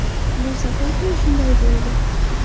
Bu safar ham shunday bo‘ldi.